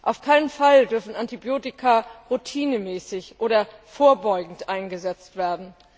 Auf keinen Fall dürfen Antibiotika routinemäßig oder vorbeugend eingesetzt werden.